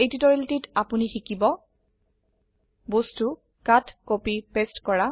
এই টিউটোৰিয়েলটিত আপোনি শিকিব বস্তূ কাটকপি পেস্ট কৰা